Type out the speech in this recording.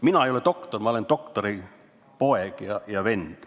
Mina ei ole doktor, ma olen doktori poeg ja vend.